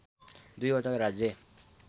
२ वटा राज्य